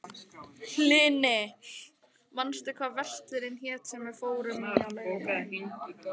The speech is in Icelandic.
Hlini, manstu hvað verslunin hét sem við fórum í á laugardaginn?